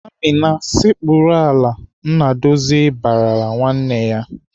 "Amina, sekpuru ala!" Nnadozie barala nwanne ya.